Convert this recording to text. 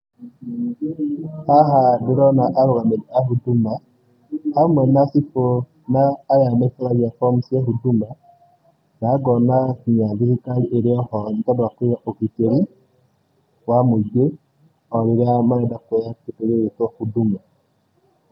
Haha ndĩrona arũgamĩrĩri a Huduma, hamwe na cibũ na aya nĩ form cia Huduma, na ngona kinya thirikari ĩrĩ oho nĩtondũ wa kũiga ũgitĩri, wa mũingĩ, o rĩrĩa marenda kuoya kĩndũ gĩgũĩtũo Huduma.